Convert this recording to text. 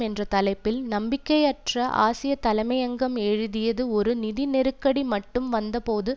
என்ற தலைப்பில் நம்பிக்கையற்ற ஆசியத்தலையங்கம் எழுதியது ஒரு நிதி நெருக்கடி மட்டும் வந்தபோது